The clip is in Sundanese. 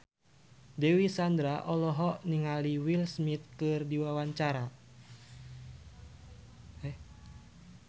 Dewi Sandra olohok ningali Will Smith keur diwawancara